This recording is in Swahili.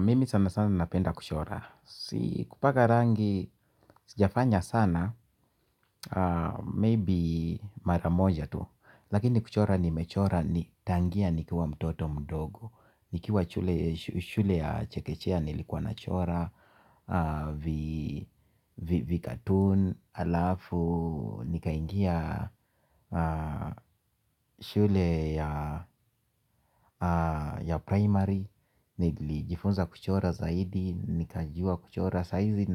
Mimi sana sana napenda kuchora. Si kupaka rangi, sijafanya sana, maybe mara moja tu. Lakini kuchora nimechora ni tangia nikiwa mtoto mdogo. Nikiwa shule ya chekechea nilikuwa na chora vi cartoon, alafu nikaingia shule ya primary. Nilijifunza kuchora zaidi. Nikajua kuchora saa hizi.